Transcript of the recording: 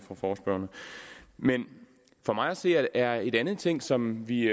men for mig at se er en anden ting som vi